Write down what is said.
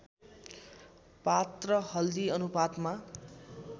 पात र हल्दी अनुपातमा